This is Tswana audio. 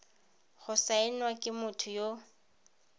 go saenwa ke motho yo